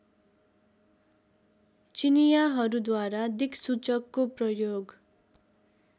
चिनियाँहरूद्वारा दिक्सूचकको प्रयोग